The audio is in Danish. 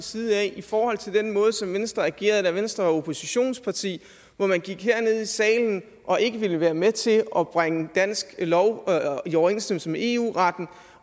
side i forhold til den måde som venstre agerede på da venstre var oppositionsparti hvor man gik herned i salen og ikke ville være med til at bringe dansk lov i overensstemmelse med eu retten